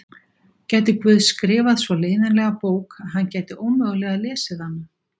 Gæti Guð skrifað svo leiðinlega bók að hann gæti ómögulega lesið hana?